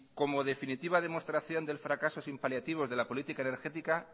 como definitiva demostración del fracaso sin paliativos de la política energética